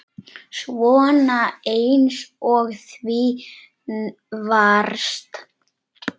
Svona eins og þú varst.